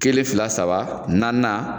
Kelen fila saba naaninan